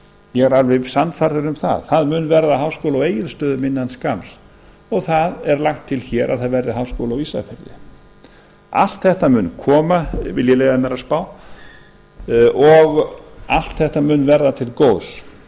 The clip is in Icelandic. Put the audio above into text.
ég er alveg sannfærður um það það mun verða háskóli á egilsstöðum innan skamms og það er lagt til hér að það verði háskóli á ísafirði allt þetta mun koma vil ég leyfa mér að spá og allt þetta mun verða til góðs